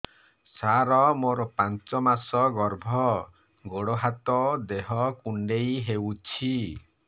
ସାର ମୋର ପାଞ୍ଚ ମାସ ଗର୍ଭ ଗୋଡ ହାତ ଦେହ କୁଣ୍ଡେଇ ହେଉଛି